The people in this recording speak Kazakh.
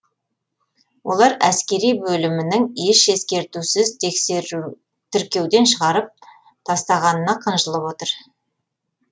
олар әскери бөлімінің еш ескертусіз тіркеуден шығарып тастағанына қынжылып отыр